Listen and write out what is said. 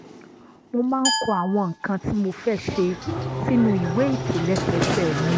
mo máa ń kọ àwọn nǹkan tí mo fẹ́ ṣe sínú ìwé ìtòlẹ́sẹẹsẹ mi